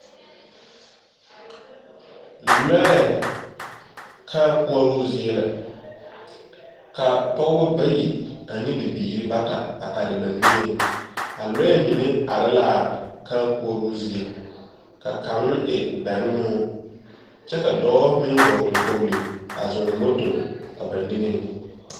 lɔɛ kãá koɔroo zie la ,ka pɔgeba bayi ane bibiiri bata are ba niŋe . A lɔɛ mine are la a kãã koɔroo ziɛ ,ka kaŋa e bɛnoo, kyɛ a dɔɔ meŋ vɔgle kpogle a zɔɔ moto a ba niŋe.